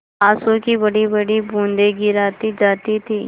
आँसू की बड़ीबड़ी बूँदें गिराती जाती थी